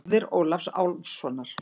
Móðir Ólafs Álfssonar.